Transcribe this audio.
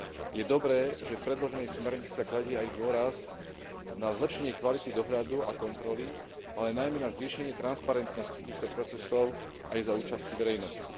Je dobré, že v predloženej smernici sa kladie aj dôraz na zlepšenie kvality dohľadu a kontroly, ale najmä na zvýšenie transparentnosti týchto procesov aj za účasti verejnosti.